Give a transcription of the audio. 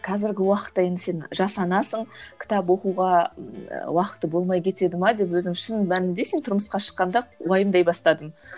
қазіргі уақытта енді сен жас анасың кітап оқуға уақыты болмай кетеді ме деп өзім шын мәнінде сен тұрмысқа шыққанда уайымдай бастадым